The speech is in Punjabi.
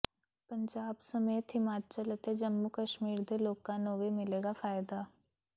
ਪੰਜਾਬ ਸਮੇਤ ਹਿਮਾਚਲ ਅਤੇ ਜੰਮੂ ਕਸ਼ਮੀਰ ਦੇ ਲੋਕਾਂ ਨੂੰ ਵੀ ਮਿਲੇਗਾ ਫਾਇਦਾ